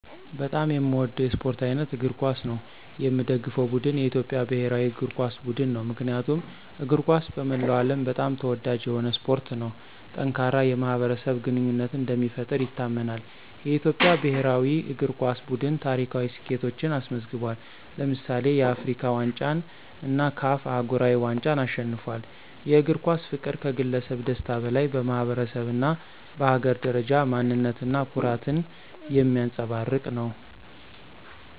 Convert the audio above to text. በጣም የሚወደው የስፖርት አይነት እግር ኳስ ነው። የሚደገፈው ቡድን የኢትዮጵያ ብሔራዊ እግር ኳስ ቡድን ነው። ምክንያቱም እግር ኳስ በመላው ዓለም በጣም ተወዳጅ የሆነ ስፖርት ነው። ጠንካራ የማኅበረሰብ ግንኙነትን እንደሚፈጥር ይታመናል። የኢትዮጵያ ብሔራዊ እግር ኳስ ቡድን ታሪካዊ ስኬቶችን አስመዝግቧል። ለምሳሌ፣ የአፍሪካ ዋንጫን እና CAF አህጉራዊ ዋንጫን አሸንፏል። የእግር ኳስ ፍቅር ከግለሰብ ደስታ በላይ በማኅበረሰብ እና በሀገር ደረጃ ማንነት እና ኩራትን የሚያንፀባርቅ ነው።